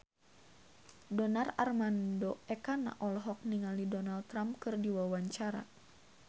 Donar Armando Ekana olohok ningali Donald Trump keur diwawancara